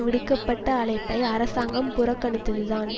விடுக்க பட்ட அழைப்பை அரசாங்கம் புறக்கணித்ததுதான்